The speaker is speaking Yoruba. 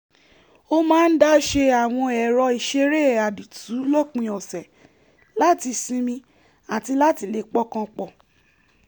ó máa ń dá ṣe àwọn ẹrọ ìṣeré àdìtú lópin ọ̀sẹ̀ láti sinmi àti láti lè pọkàn pọ̀